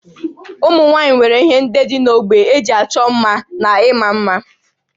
Ụmụ nwaanyị nwere ihe ndị dị n'ógbè eji ịchọ mma na ịma mma